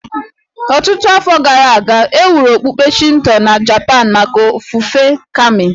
Ọtụtụ afọ gara aga, e wuru okpukpe Shinto na Japan maka ofufe Kami